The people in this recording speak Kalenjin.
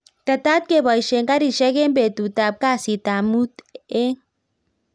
Tetat koboishe karishek eng betut ab kasit ab mut eng